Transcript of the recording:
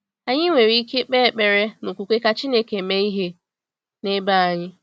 Anyị nwere ike kpee ekpere n’okwukwe ka Chineke mee ihe n’ebe anyị.